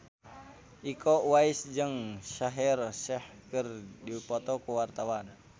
Iko Uwais jeung Shaheer Sheikh keur dipoto ku wartawan